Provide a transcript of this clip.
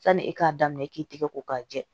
Sani e k'a daminɛ i k'i tigɛ ko k'a jɛ